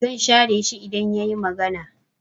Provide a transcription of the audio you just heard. I will ignore him if he talk